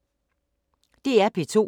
DR P2